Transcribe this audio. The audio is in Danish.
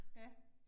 Ja